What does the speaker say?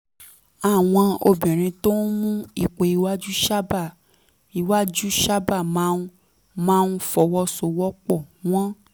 àwọn obìnrin tó ń mú ipò iwájú sábà iwájú sábà máa ń máa ń fọwọ́ sowọ́ pọ̀ wọ́n